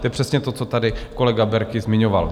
To je přesně to, co tady kolega Berki zmiňoval.